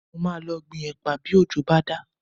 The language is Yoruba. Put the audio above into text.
Mo máa lọ gbin ẹ̀pà bí òjò bá dá